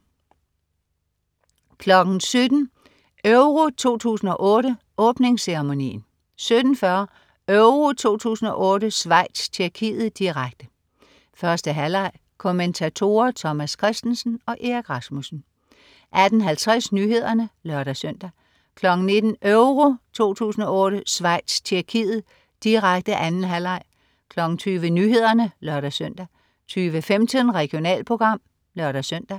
17.00 EURO 2008: Åbningsceremonien 17.40 EURO 2008: Schweiz-Tjekkiet, direkte. 1. halvleg. Kommentatorer: Thomas Kristensen og Erik Rasmussen 18.50 Nyhederne (lør-søn) 19.00 EURO 2008: Schweiz-Tjekkiet, direkte 2. halvleg 20.00 Nyhederne (lør-søn) 20.15 Regionalprogram (lør-søn)